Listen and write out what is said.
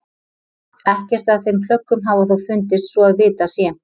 Ekkert af þeim plöggum hafa þó fundist svo að vitað sé.